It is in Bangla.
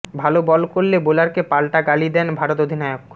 ভাল বল করলে বোলারকে পালটা গালি দেন ভারত অধিনায়ক